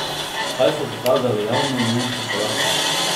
Kaj so pokazali javnomnenjski podatki?